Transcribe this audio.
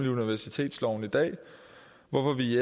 i universitetsloven i dag hvorfor vi i